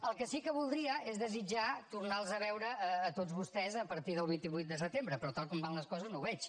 el que sí que voldria és desitjar tornar los a veure a tots vostès a partir del vint vuit de setembre però tal com van les coses no ho veig